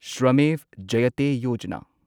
Shramev Jayate Yojana